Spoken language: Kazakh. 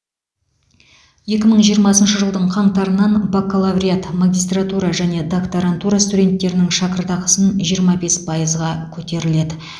екі мың жиырмасыншы жылдың қаңтарынан бакалавриат магистратура және докторантура студенттерінің шәкіртақысын жиырма бес пайызға көтеріледі